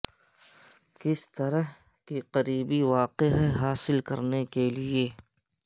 کس طرح کہ قریبی واقع ہے حاصل کرنے کے لئے